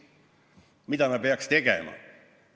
Mida me peaks tegema?